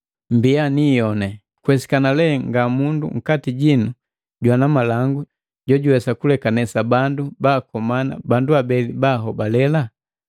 Mmbiya ni iyoni! Kuwesikana lee nga mundu nkati jinu jwana malangu jojuwesa kulekanesa bandu baakomana bandu abeli bahobale?